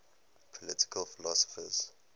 political philosophers